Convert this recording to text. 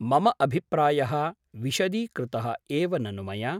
मम अभिप्रायः विशदीकृतः एव ननु मया ?